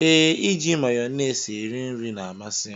Ee, iji mayones eri nri na-amasi m.